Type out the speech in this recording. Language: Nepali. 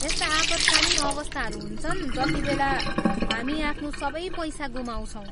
यस्ता आपत्कालीन अवस्थाहरू हुन्छन् जतिबेला हामी आफ्नो सबै पैसा गुमाउँछौँ।